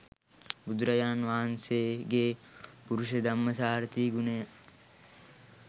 බුදුරජාණන් වහන්සේගේ පුරුෂධම්මසාරථි ගුණය